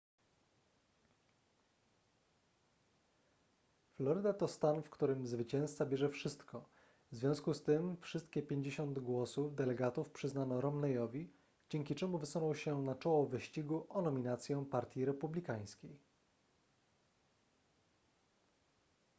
floryda to stan w którym zwycięzca bierze wszystko w związku z tym wszystkie 50 głosów delegatów przyznano romneyowi dzięki czemu wysunął się na czoło wyścigu o nominację partii republikańskiej